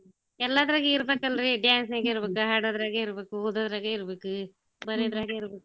ಎಲ್ಲಾದ್ರಾಗೆ ಇಬ್ರೇಕಲ್ರೀ dance ನಾಗ್ ಇರ್ಬೇಕು ಹಾಡೋದ್ರಾಗೂ ಇರ್ಬೇಕು ಓದೋದ್ರಗೂ ಇರ್ಬಾಕು ಬರ್ಯೋದ್ರಾಗೂ ಇರ್ಬೇಕು.